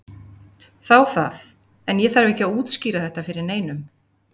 Þá það, en ég þarf ekki að útskýra þetta fyrir neinum.